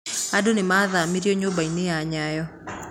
Andu nimaathĩnirio nyũmba-inĩ ya Nyayo